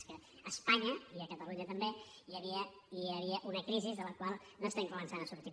és que a espanya i a catalunya també hi havia una crisi de la qual estem començant a sortir